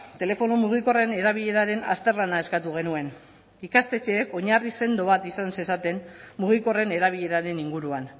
telefono mugikorren erabileraren azterlana eskatu genuen ikastetxeek oinarri sendo bat izan zezaten mugikorren erabileraren inguruan